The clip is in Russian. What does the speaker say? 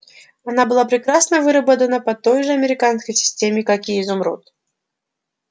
она была прекрасно выработана по той же американской системе как и изумруд